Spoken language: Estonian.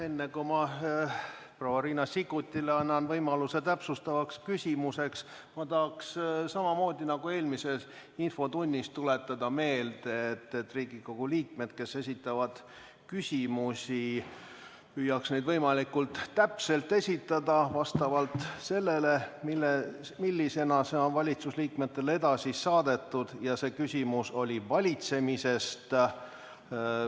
Enne kui annan proua Riina Sikkutile võimaluse täpsustavaks küsimuseks, tahan ma samamoodi nagu eelmises infotunnis tuletada meelde, et Riigikogu liikmed, kes esitavad küsimusi, püüaks need esitada võimalikult täpselt vastavalt sellele, millisena need küsimused on valitsusliikmetele edasi saadetud – ja praegusel juhul on küsimuse teemaks valitsemine.